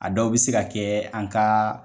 A dɔw bɛ se ka kɛ an ka